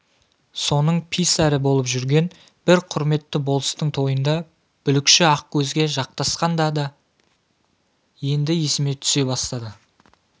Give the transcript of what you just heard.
соның писарі болып жүрген бір құрметті болыстың тойында бүлікші ақкөзге жақтасқан да-да енді есіме түсе бастады